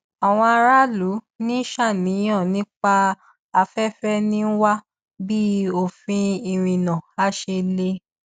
àwọn aráàlú ń ṣàníyàn nípa afẹfẹ ń wá bí òfin ìrìnnà á ṣe le